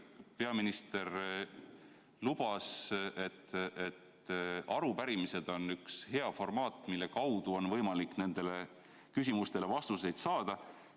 Peaminister lubas, et arupärimised on hea formaat, mille kaudu nendele küsimustele vastused saada.